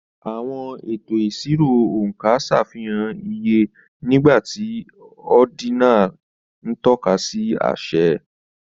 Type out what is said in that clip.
Àwọn ètò ìṣirò oonka ṣàfihàn iye, nígbà tí ordinal ń tọ́ka sí àṣẹ.